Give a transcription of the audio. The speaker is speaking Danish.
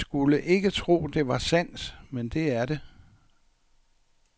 Man skulle ikke tro, det var sandt, men det er det.